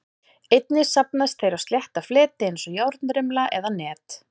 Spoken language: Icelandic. Einnig safnast þeir á slétta fleti eins og járnrimla eða net.